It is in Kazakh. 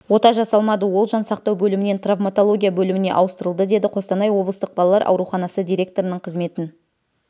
ота жасалмады ол жан сақтау бөлімінен травматология бөліміне ауыстырылды деді қостанай облыстық балалар ауруханасы директорының қызметін